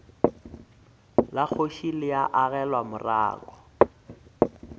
la kgoši le agelwa morako